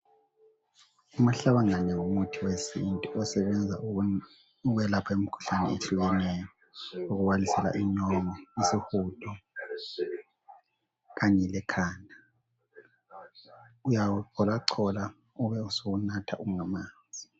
Umahlabangane umuthi wesintu osebenza ukwelapha imikhuhlane ehlukeneyo okubalisa inyongo, isihudo kanye lekhanda. Uyawucholachola ubesuwunatha ungamanzi